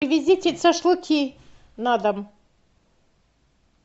привезите шашлыки на дом